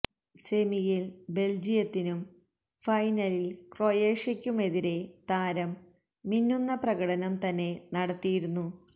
സെമിയില് ബെല്ജിയത്തിനും ഫൈനലില് ക്രൊയേഷ്യക്കുമെതിരേ താരം മിന്നുന്ന പ്രകടനം തന്നെ നടത്തിയിരുന്നു